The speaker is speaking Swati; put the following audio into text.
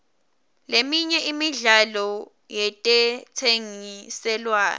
leminye imidlalo yetentsengiselwano